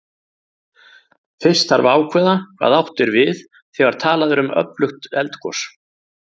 Fyrst þarf að ákveða hvað átt er við þegar talað er um öflugt eldgos.